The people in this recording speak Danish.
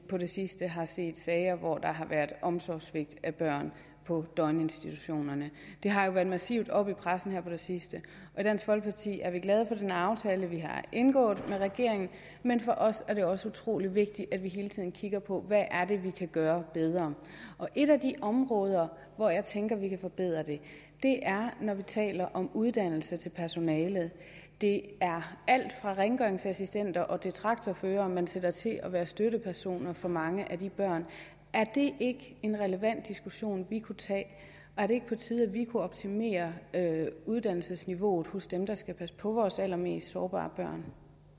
på det sidste har set sager hvor der har været omsorgssvigt af børn på døgninstitutionerne det har jo været massivt oppe i pressen her på det sidste og i dansk folkeparti er vi glade for den aftale vi har indgået med regeringen men for os er det også utrolig vigtigt at vi hele tiden kigger på hvad det er vi kan gøre bedre et af de områder hvor jeg tænker at vi kan forbedre det er når vi taler om uddannelse af personalet det er alt fra rengøringsassistenter til traktorførere man sætter til at være støttepersoner for mange af de børn er det ikke en relevant diskussion vi kunne tage og er det ikke på tide at vi kunne optimere uddannelsesniveauet hos dem der skal passe på vores allermest sårbare børn